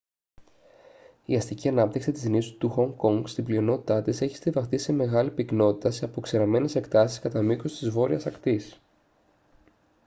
η αστική ανάπτυξη της νήσου του χονγκ κονγκ στην πλειονότητά της έχει στοιβαχτεί σε μεγάλη πυκνότητα σε αποξηραμένες εκτάσεις κατά μήκους της βόρειας ακτής